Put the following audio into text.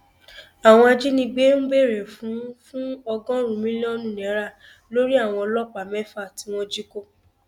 àwọn ajínigbé ń béèrè fún fún ọgọrùnún mílíọnù náírà lórí àwọn ọlọpàá mẹfà tí wọn jí kó